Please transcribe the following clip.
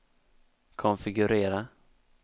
konfigurera